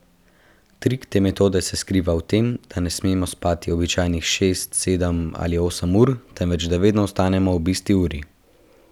Trik te metode se skriva v tem, da ne smemo spati običajnih šest, sedem ali osem ur, temveč da vedno vstanemo ob isti uri.